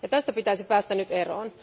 Tästä pitäisi päästä nyt eroon.